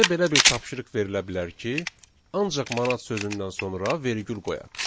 Bizə belə bir tapşırıq verilə bilər ki, ancaq manat sözündən sonra vergül qoyaq.